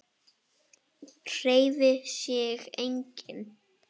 Hreyfir sig enginn?